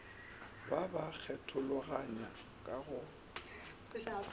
ba ba kgethologanya ka go